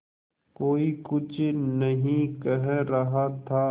कोई कुछ नहीं कह रहा था